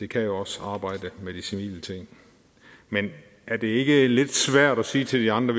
kan jo også arbejde med de civile ting men er det ikke lidt svært at sige til de andre